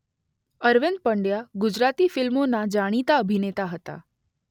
અરવિંદ પંડ્યા ગુજરાતી ફિલ્મોના જાણીતા અભિનેતા હતા.